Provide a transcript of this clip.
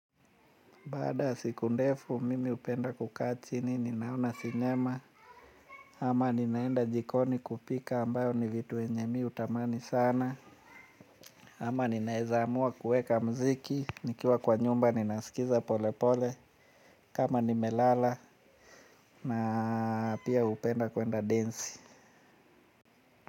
Baada ya siku ndefu mimi hupenda kukaa chini ninaona sinema. Ama ninaenda jikoni kupika ambayo ni vitu vyenye mimi hutamani sana. Ama ninaweza amua kuweka muziki. Nikiwa kwa nyumba ninasikiza pole pole. Kama nimelala na pia hupenda kwenda densi.